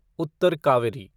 Uttar Kaveri